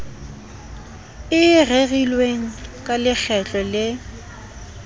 e rerilweng ka lekgetlo le